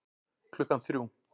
Klukkan þrjú